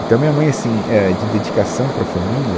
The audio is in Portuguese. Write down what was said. Então minha mãe, assim, é, de dedicação para a família,